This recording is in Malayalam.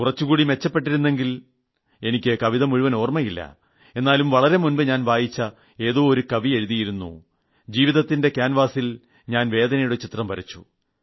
കുറച്ചുകൂടി മെച്ചപ്പെട്ടിരുന്നെങ്കിൽ എനിക്ക് കവിത മുഴുവൻ ഓർമ്മയില്ല എന്നാലും വളരെ മുമ്പ് ഞാൻ വായിച്ച ഏതോ ഒരു കവി എഴുതിയിരുന്നു ജീവിതത്തിന്റെ കാൻവാസിൽ ഞാൻ വേദനയുടെ ചിത്രം വരച്ചു